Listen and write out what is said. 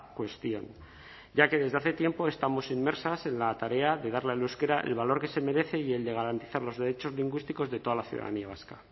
cuestión ya que desde hace tiempo estamos inmersas en la tarea de darle al euskera el valor que se merece y el de garantizar los derechos lingüísticos de toda la ciudadanía vasca